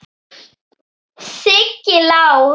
Siggi Lár.